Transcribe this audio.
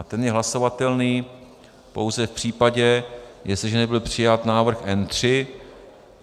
A ten je hlasovatelný pouze v případě, jestliže nebyl přijat návrh N3.